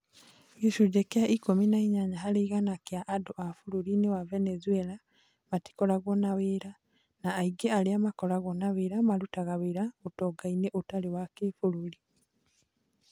Gĩcunjĩ kĩa ikumi na inyanya harĩ igana kia andu a bũrũri-inĩ wa Venezuela matikoragwo na wĩra, na aingĩ arĩa makoragwo na wĩra marutaga wĩra ũtonga-inĩ ũtarĩ wa kĩbũrũri